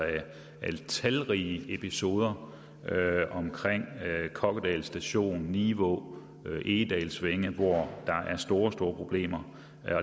med talrige episoder omkring kokkedal station nivå og egedalsvænge hvor der er store store problemer